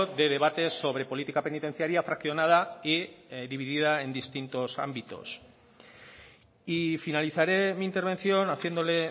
de debates sobre política penitenciaria fraccionada y dividida en distintos ámbitos y finalizaré mi intervención haciéndole